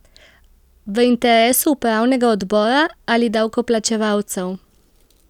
V interesu upravnega odbora ali davkoplačevalcev?